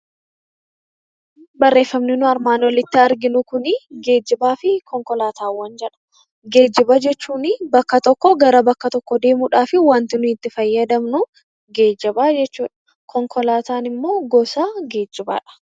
Geejjiba jechuun bakka tokkoo gara bakka biraa deemuudhaaf wanti nuti itti fayyadamnu geejjiba jedhama. Konkolaataa jechuun immoo gosa geejjibaadha